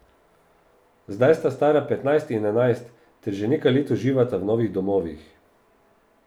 Zdaj sta stara petnajst in enajst ter že nekaj let uživata v novih domovih.